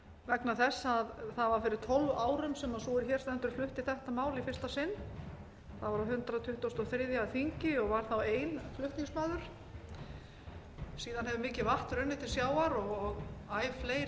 vegna þess að það var fyrir tólf árum sem sú er hér stendur flutti þetta mál í fyrsta sinn það var á hundrað tuttugasta og þriðja þingi og var þá ein flutningsmaður síðan hefur mikið vatn runnið til sjávar og æ fleiri hafa snúist á sveif með þessu